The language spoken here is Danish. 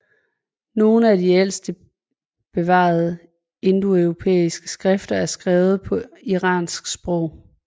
Nogle af de ældste bevarede indoeuropæiske skrifter er skrevet på iranske sprog